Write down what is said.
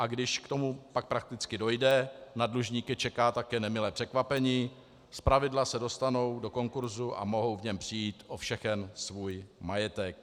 A když k tomu pak prakticky dojde, na dlužníky čeká také nemilé překvapení - zpravidla se dostanou do konkursu a mohou v něm přijít o všechen svůj majetek.